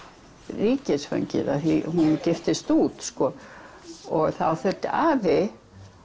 ríkisfangið af því að hún giftist út þá þurfti afi